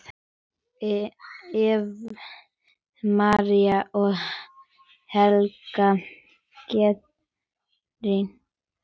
Eva María og Helga Guðrún.